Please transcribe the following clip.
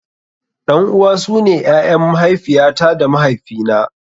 Ɗan uwa su ne ƴaƴan mahaifiya ta da mahaifi na.